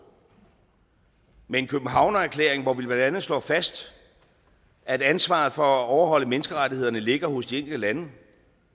med en københavnererklæring hvor vi blandt andet slår fast at ansvaret for at overholde menneskerettighederne ligger hos de enkelte lande